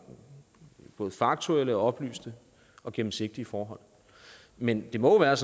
både faktuelle oplyste og gennemsigtige forhold men det må være